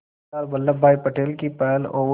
सरदार Vallabhbhai Patel की पहल और